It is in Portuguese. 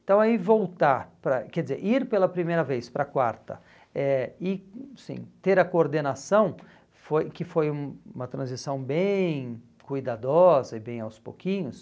Então aí voltar, para, quer dizer, ir pela primeira vez para a quarta eh e assim ter a coordenação, foi que foi um uma transição bem cuidadosa e bem aos pouquinhos,